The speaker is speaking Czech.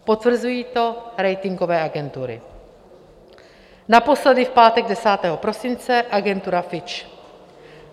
Potvrzují to ratingové agentury, naposledy v pátek 10. prosince agentura Fitch.